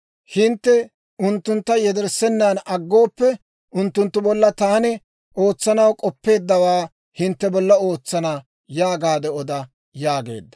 Hintte unttuntta yederssenan aggooppe, unttunttu bolla taani ootsanaw k'oppeeddawaa hintte bolla ootsana› yaagaade oda» yaageedda.